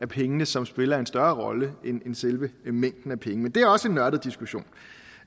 pengene som spiller en større rolle end selve mængden af penge men det er også en nørdet diskussion